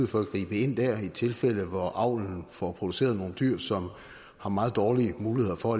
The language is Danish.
for at gribe ind dér i tilfælde hvor avlen får produceret nogle dyr som har meget dårlige muligheder for